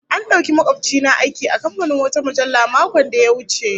An dauki makobci na aiki a kamfanin wata mujallah makon da ya wuce